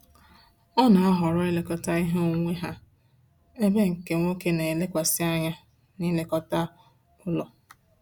Ọ na-ahọrọ ilekọta ihe onwunwe ha, ebe nke nwoke na elekwasi anya na-ilekọta ụlọ